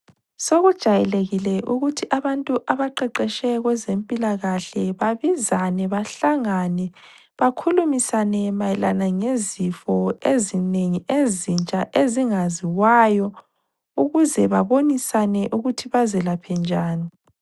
Sokujayelekile ukuthi abantu abaqeqetshe kwezempilakahle babizane bahlangane bakhulumisane mayelana ngezifo ezinengi ezintsha ezingaziwayo ukuze babonisane ukuthi bazilaphe njani